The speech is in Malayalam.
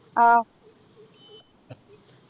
ആഹ്